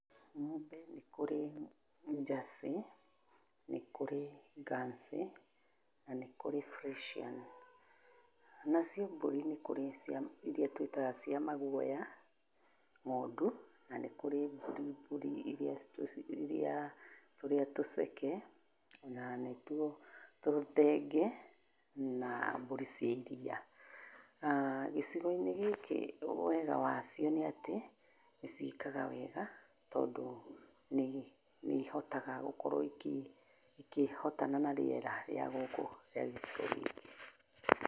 Ng'ombe nĩ kũrĩ jersey, nĩ kũrĩ guernsey na nĩ kũrĩ Fresian. Nacio mbũrĩ nĩ kũrĩ iria twĩtaga cia maguoya, ng'ondu, na nĩ kũrĩ mbũri mbũri iria, tũrĩa tũceke, o na nĩ tuo tũthenge, na mbũri cia iria. Gĩcigo-inĩ gĩkĩ wega wacio nĩ atĩ, nĩ ciĩkaga wega tondũ nĩ ihotaga gũkorwo ikĩhotana na rĩera rĩa gũkũ rĩa gĩcigo gĩkĩ.